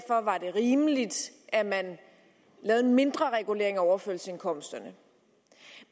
rimeligt at man laver en mindre regulering af overførselsindkomsterne